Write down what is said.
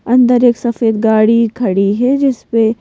अंदर एक सफेद गाड़ी खड़ी है जिस पे--